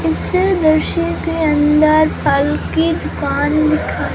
इस दृश्य के अंदर फल की दुकान दिखाई --